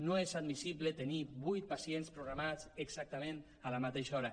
no és admissible tenir vuit pacients programats exactament a la mateixa hora